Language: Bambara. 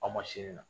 Aw ma sini na